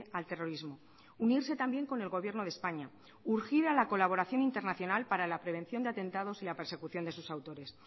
al terrorismo unirse también con el gobierno de españa urgida la colaboración internacional para la prevención de atentados y la persecución de sus autores